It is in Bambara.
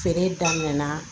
Feere daminɛ na